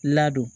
Ladon